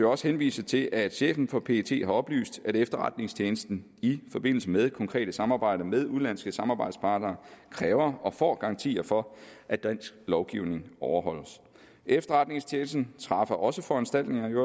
også henvise til at chefen for pet har oplyst at efterretningstjenesten i forbindelse med konkrete samarbejder med udenlandske samarbejdspartnere kræver og får garantier for at dansk lovgivning overholdes efterretningstjenesten træffer også foranstaltninger i